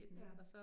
Ja